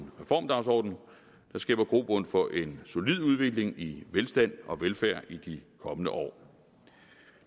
reformdagsorden der skaber grobund for en solid udvikling i velstand og velfærd i de kommende år